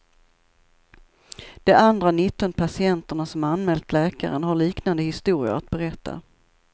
De andra nitton patienterna som anmält läkaren har liknande historier att berätta.